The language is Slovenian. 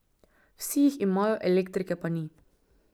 Vsi jih imajo, elektrike pa ni.